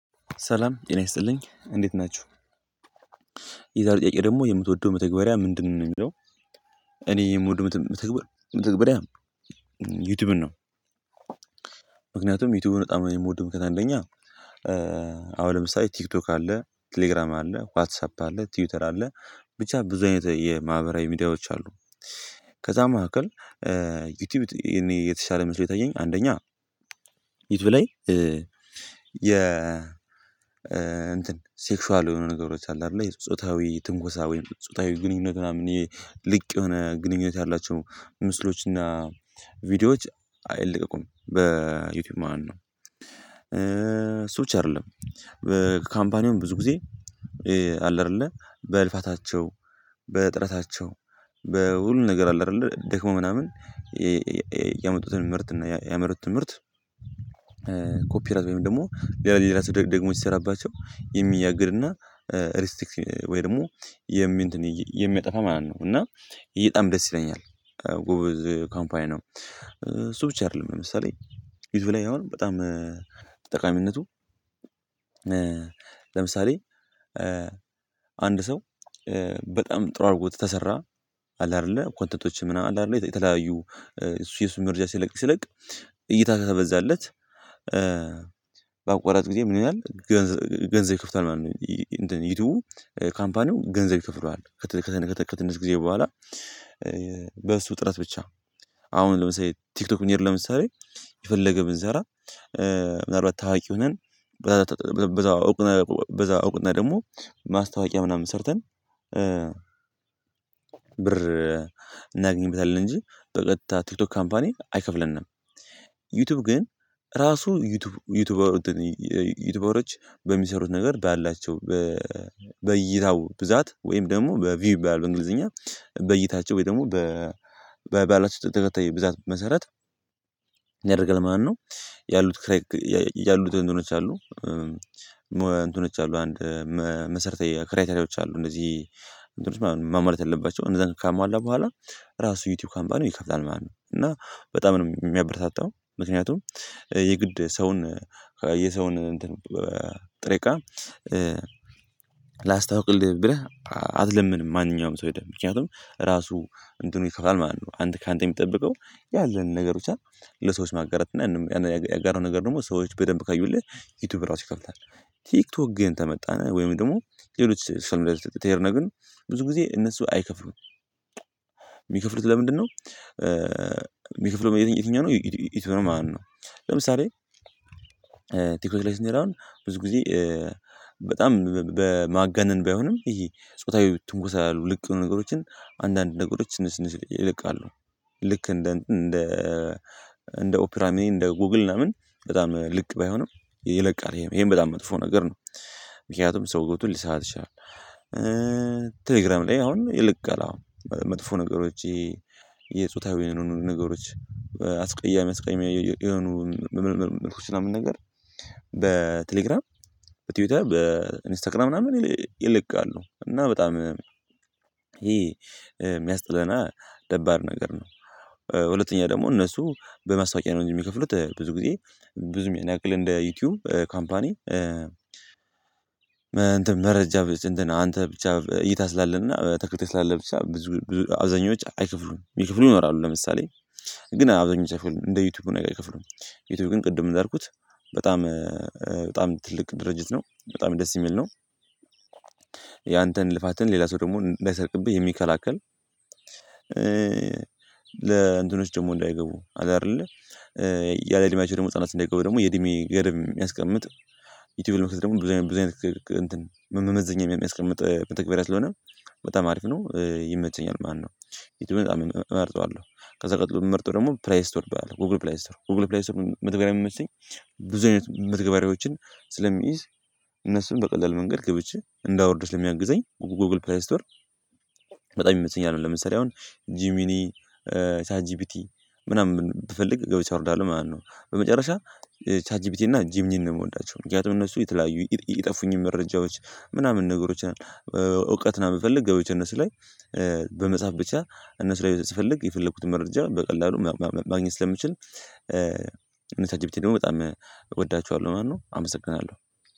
ሰላም ጤና ይስጥልኝ እንዴት ናችሁ የዛሬ ጥያቄ ደግሞ የምትወደው መተግበርያ ምንድነው ነው የሚለው? እኔ የምወደው መተግበርያ ዩቲዩብን ነው። ምክንያቱም ዩቲዩብን በጣም የምወደው ምክንያት አንደኛ አሁን ለምሳሌ ቲክቶክ አለ ቴሌግራም አለ ዋትሳፕ አለ ቲዩተር አለ ብቻ ብዙ አይነት የማህበራዊ ሚዲያዎች አሉ። ከዛ መካከል ዩቲዩብ እኔ የተሻለ መስሎ የታየኝ አንደኛ ዩቲዩብ ላይ የ ሴክሽዋል የሆኑ ነገሮች አሉ አይደለ የጾታዊ ትንኮሳዊ ጾታዊ ግንኙነት ምናምን ልቅ የሆነ ግንኙነት ያላቸው ምስሎች እና ቪዲዮዎች አይለቀቁም በዩቲዩብ ማለት ነው። እሱ ብቻ አይደለም በካምፓኒው ብዙ ጊዜ አለ አደለ በልፋታቸው በጥረታቸው በሁሉም ነገር አለ አይደለ ደክሞ ምናምን። ያመጡትን ምርት እና ያመሩት ትምህርት ኮፒ ራይት ወይም ደግሞ ሌላ ሌላ ራስ ደግሞ ሲሰራባቸው የሚያግድ እና ሪስቲክስ ወይ ደግሞ የሚጠፋ ማለት ነው። እና ይህ ጣም ደስ ይለኛል ጎበዝ ካምፓኒ ነው። እሱ ብቻ አይደለም ለምሳሌ ዩቲዩብ ላይ አሁን በጣም ጠቃሚነቱ ለምሳሌ አንድ ሰው በጣም ጥሩ አድርጎት ተሰራ አለ አይደለ ኳንተቶችም ምናም አለ አይደለ የተለያዩ እሱ እሱ መርጃ ሲለቅ ሲለቅ እይታ ከበዛለት። በአቋራጭ ጊዜ ምን ይላል ገንዘብ ገንዘብ ይከፍላል ማለት ነው። እንትን ዩቲዩቡ ካምፓኒው ገንዘብ ይከፍለዋል። ከትንሽ ጊዜ በኋላ ጥረት ብቻ አሁን ለምሳሌ ቲክቶክ ብንሄድ ለምሳሌ የፈለገ ብንሰራ ምናልባት ታዋቂ ሆነን በዛው እውቅና በዛው እውቅና ደግሞ ማስታወቂያ ምናምን ሰርተን ብር እናገኝበታለን እንጂ በቀጥታ ቲክቶክ ካምፓኒ አይከፍለንም። ዩቲዩብ ግን ራሱ ዩቲዩበሮች በሚሰሩት ነገር ባላቸው በእይታው ብዛት ወይም ደግሞ በቪው ይባላል በእንግሊዝኛ በእይታቸው ወይ ደግሞ በባላቸው ተከታይ ብዛት መሰረት ምን ያደርጋል ማለት ነው። ያሉት ክሬክ ያሉት እንትኖች አሉ። እንትኖች አሉ አንድ መሰርታዊ ክራይተርያዎች አሉ እንደዚህ ማሟላት ያለባቸውም እንደዛ ካሟላ በኋላ ራሱ ዩቲዩብ ካምፓኒው ይከፍላል ማለት ነው። እና በጣም ነው የሚያበረታታው ምክንያቱም የግድ ሰውን የሰውን እንትን ጥሬ እቃ ላስታውቅልህ ብለህ አትለምንም ማንኛውም ሰው ሄደህ ምክንያቱም ራሱ እንትኑ ይከፍላል ማለት ነው። አንተ ካንተ የሚጠብቀው ያለንን ነገሮችን ለሰዎች ማጋራት እና ያጋራሀው ነገር ደግሞ ሰዎች በደንብ ካዩልህ ዩቲዩብ ራሱ ይከፍላል። ቲክቶክ ግን ከመጣን ወይም ደግሞ ሌሎች ሰልፍ ላይ ከሄድን ግን ብዙ ጊዜ እነሱ አይከፍሉም። የሚከፍሉት ለምንድነው? የሚከፍለው የትኛው ነው ዩቱብ ነው ማለት ነው። ለምሳሌ ቲክቶክ ላይ ስንት ነው አሁን ብዙ ጊዜ በጣም በማገነን ባይሆንም ይሄ ጾታዊ ትንኩሳ ያሉ ልክ ያልሆኑ ነገሮችን አንዳንድ ነገሮች ስንል ስንል ይለቃሉ። ልክ እንደ እንደ እንደ ኦፒራሚን እንደ ጎግል ለምን በጣም ልክ ባይሆንም ይለቃል ይሄን በጣም መጥፎ ነገር ነው ምክንያቱም ሰው ገብቶ ሊሳሳት ይችላል። ቴሌግራም ላይ አሁን ይልቅ አለ አሁን መጥፎ ነገሮች የጾታዊ ነገሮች አስቀያሚ አስቀያሚ የሆኑ ምልድክቶች ምናምን ነገር በቴሌግራም በትዊተር በኢንስታግራም ምናምን ይለቃሉ እና በጣም ይሄ የሚያስጠላ እና ደባሪ ነገር ነው። ሁለተኛ ደግሞ እነሱ በማስታወቂያ ነው እንጂ የሚከፍሉት ብዙ ጊዜ ብዙ ያን ያክል እንደ ዩቲዩብ ካምፓኒ። ደረጃ አንተ ብቻ እይታ ስላለህና ተከታይ ስላለህ ብዙ ብዙ ብቻ አብዛኛዎች አይከፍሉም ሚከፍሉ ይኖራሉ ለምሳሌ ግን አብዛኛዎቹ እንደ ዩቲዩብ ነገርአከፍሉም ዩቲዩብ ግን ቅድም እንዳልኩት በጣም በጣም ትልቅ ድርጅት ነው በጣም ደስ የሚል ነው። ያንተን ልፋትን ሌላ ሰው ደግሞ እንዳይሰርቅብህ የሚከላከል። ለእንትኖች ደግሞ እንዳይገቡ አለ አይደለ። ያለ እድሜያቸው ደግሞ ህፃናት እንዳይገቡ ደግሞ የእድሜ ገደብ የሚያስቀምጥ ዩቲዩብ ለመክፈት ደግሞ ብዙ ብዙ እንትን መመዘኛ የሚያስቀምጥ መተግበርያ ስለሆነ በጣም አሪፍ ነው። ይመቸኛል ማነው? ይቱብን በጣም እመርጠዋለው። ከዛ ቀጥሎ የምመርጠው ደግሞ ፕላይ ስቶር አለ ጉግል ፕላይ ስቶር ጉግል ፕላይ ስቶር መተግበርያ የሚመቸኝ። ብዙ አይነት መተግበሪያዎችን ስለሚይዝ እነሱን በቀላሉ መንገድ ገብቼ እንዳወርድ ስለሚያግዘኝ ጎግል ፕላይ ስቶር። በጣም ይመስለኛል ለምሳሌ አሁን ጂሚኒ ቻት ጂፒቲ ምናምን ብፈልግ ገብቼ እርዳለው ማለት ነው። በመጨረሻ ቻት ጂፒቲ እና ጂምኒን ነው የምወዳቸው ምክንያቱም እነሱ የተለያዩ የጠፉኝን መረጃዎች ምናምን ነገሮች እውቀት ለመፈልግ ገብቼ እነሱ ላይ በመጻፍ ብቻ እነሱ ላይ ስፈልግ የፈለግኩትን መረጃ በቀላሉ ማግኘት ስለምችል። እነ ቻት ጂፒቲ ደግሞ በጣም እወዳችኋለው ማለት ነው። አመሰግናለው